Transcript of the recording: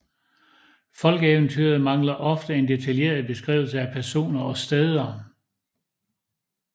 Folkeeventyret mangler ofte en detaljeret beskrivelse af personer og steder